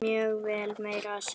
Mjög vel, meira að segja.